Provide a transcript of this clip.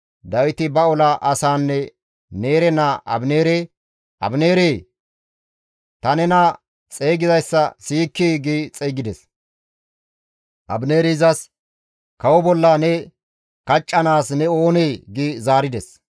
Dawiti ba ola asaanne Neere naa Abineere, «Abineeree! Ta nena xeygizayssa siyikkii?» gi xeygides. Abineeri izas, «Kawo bolla ne kaccanaas ne oonee?» gi zaarides.